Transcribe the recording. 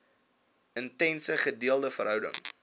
intense gedeelde verhouding